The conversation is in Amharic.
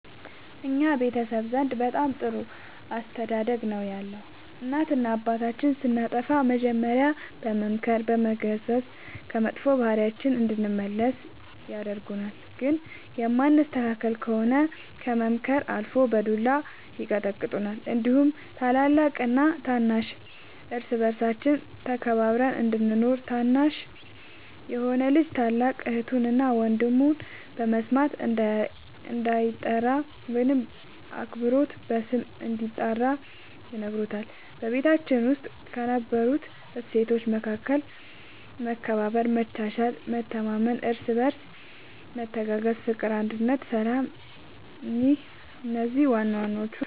በእኛ ቤተሰብ ዘንድ በጣም ጥሩ አስተዳደግ ነው ያለን እናትና አባታችን ስናጠፋ መጀሪያ በመምከር በመገሰፅ ከመጥፎ ባህሪያችን እንድንመለስ ያደርጉናል ግን የማንስተካከል ከሆነ ከምክርም አልፎ በዱላ ይቀጡናል እንዲሁም ታላቅና ታናሽ እርስ በርሳችን ተከባብረን እንድንኖር እና ታናሽ የሆነ ልጅ ታላቅ እህቱን እና ወንድሙ በስማቸው እንዳይጠራ ወይም በአክብሮት ስም እንድንጠራራ ይነግሩናል በቤታችን ውስጥ ከነበሩት እሴቶች መካከል መከባበር መቻቻል መተማመን እርስ በርስ መተጋገዝ ፍቅር አንድነት ሰላም እነዚህ ዋናዋናዎቹ ናቸው